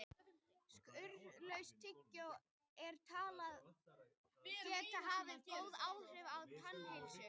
Sykurlaust tyggjó er talið geta haft góð áhrif á tannheilsu.